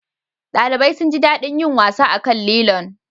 ɗalibai sun ji daɗin yin wasa akan lilon